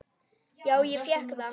Já, ég fékk það.